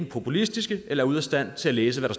populistiske eller ude af stand til at læse hvad